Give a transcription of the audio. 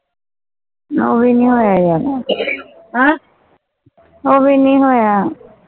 ਉਹ ਭੀ ਨਹੀਂ ਹੋਇਆ ਯਾਰ ਅਹ ਉਹ ਭੀ ਨਹੀਂ ਹੋਇਆ